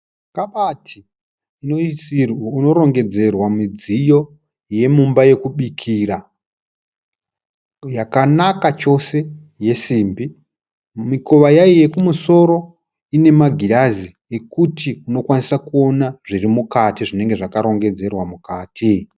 Kabati inorongedzerwa midziyo yemumba yokubikira yakanaka chose yesimbi. Mikowa yayo yekumusoro ine magirazi ekuti unokwanisa kuona zviri mukati zvinenge zvakarongedzerwa mukati.